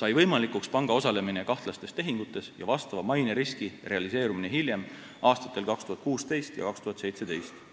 sai võimalikuks panga osalemine kahtlastes tehingutes ja vastava maineriski realiseerumine hiljem, aastatel 2016 ja 2017.